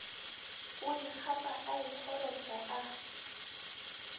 o ikgapa a ikgoroša a